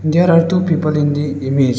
there are two people in the image.